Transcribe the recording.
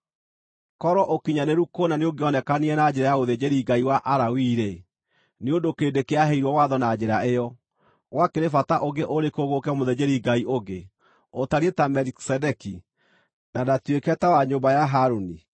Korwo ũkinyanĩru kũna nĩũngĩonekanire na njĩra ya ũthĩnjĩri Ngai wa Alawii-rĩ, (nĩ ũndũ kĩrĩndĩ kĩaheirwo watho na njĩra ĩyo), gwakĩrĩ bata ũngĩ ũrĩkũ gũũke mũthĩnjĩri-Ngai ũngĩ, ũtariĩ ta Melikisedeki, na ndatuĩke ta wa nyũmba ya Harũni?